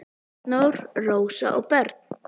Arnór, Rósa og börn.